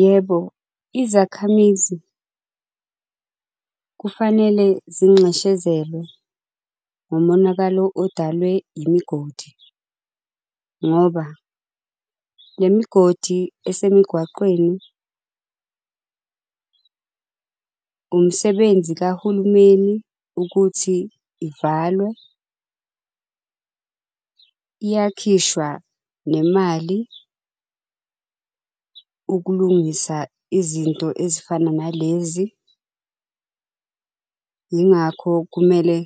Yebo, izakhamizi, kufanele zinxeshezelwe ngomonakalo odalwe imigodi. Ngoba nemigodi esemigwaqeni , umsebenzi kahulumeni ukuthi ivalwe. Iyakhishwa nemali, ukulungisa izinto ezifana nalezi. Yingakho kumele